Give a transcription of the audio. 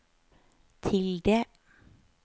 tilde